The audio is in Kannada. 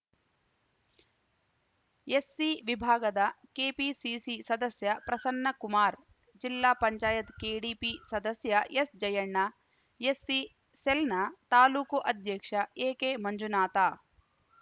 ಎಸ್‌ಸಿ ವಿಭಾಗದ ಕೆಪಿಸಿಸಿ ಸದಸ್ಯ ಪ್ರಸನ್ನ ಕುಮಾರ್‌ ಜಿಲ್ಲಾ ಪಂಚಾಯತ್ ಕೆಡಿಪಿ ಸದಸ್ಯ ಎಸ್‌ಜಯಣ್ಣ ಎಸ್‌ಸಿ ಸೆಲ್‌ನ ತಾಲೂಕು ಅಧ್ಯಕ್ಷ ಎಕೆಮಂಜುನಾಥ